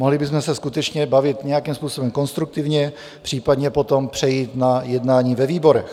Mohli bychom se skutečně bavit nějakým způsobem konstruktivně, případně potom přejít na jednání ve výborech.